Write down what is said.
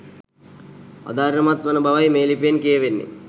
අධෛර්යමත් වන බවයි මේ ලිපියෙන් කියවෙන්නේ